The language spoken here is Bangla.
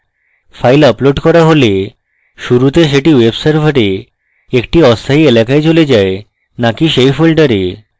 files আপলোড করা হলে শুরুতে সেটি web server একটি অস্থায়ী এলাকায় চলে যায় নাকি সেই folder